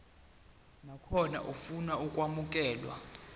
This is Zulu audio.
nakhona ofuna ukwamukelwa